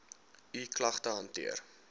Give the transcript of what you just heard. u klagte hanteer